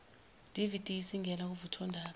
dvd isingena kuvuthondaba